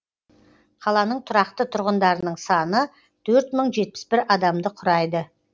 қаланың тұрақты тұрғындарының саны төрт мың жетпіс бір адамды құрайды